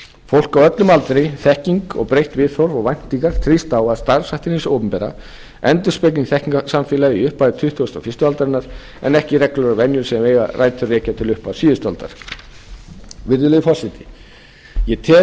fólk á öllum aldri þekking breytt viðhorf og væntingar þrýsta á að starfshættir hins opinbera endurspegli þekkingarsamfélagið í upphafi tuttugustu og fyrstu aldarinnar en ekki reglulegar venjur sem eiga rætur að rekja til upphafs síðustu aldar virðulegi forseti ég